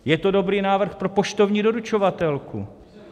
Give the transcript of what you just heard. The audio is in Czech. Je to dobrý návrh pro poštovní doručovatelku.